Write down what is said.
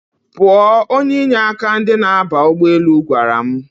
Pụọ! Onye inye aka ndi na-aba ụgbọelu gwara m